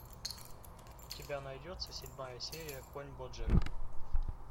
у тебя найдется седьмая серия конь боджек